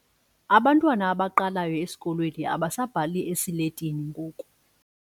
Abantwana abaqalayo esikolweni abasabhali esiletini ngoku.